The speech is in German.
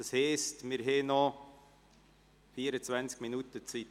Das heisst, wir haben noch 24 Minuten Zeit.